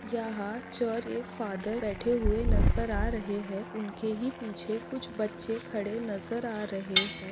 यहाँ चर्च के फादर बैठे हुए नज़र आ रहे है उनके ही पीछे कुछ बच्चे खड़े नजर आ रहे है।